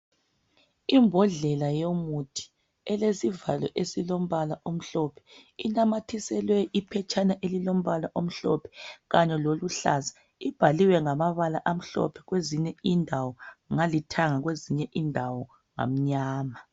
imbhodlela yomuthi elisivalo esilompala omhlophe sinamathiselwe iphetshana elompala omhlophe kanye loluhlaza ibhaliwengamabala amhlophe kwezinye indawo ngaluthanga kwezinye indawo ngamnyama